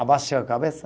Abaixa a cabeça.